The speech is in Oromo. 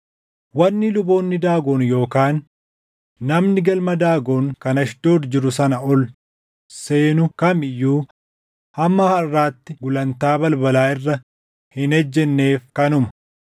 Wanni luboonni Daagon yookaan namni galma Daagon kan Ashdood jiru sana ol seenu kam iyyuu hamma harʼaatti gulantaa balbalaa irra hin ejjenneef kanuma.